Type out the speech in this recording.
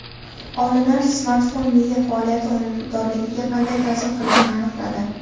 Olimlar smartfon miya faoliyati unumdorligiga qanday ta’sir qilishini aniqladi.